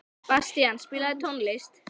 Bastían, spilaðu tónlist.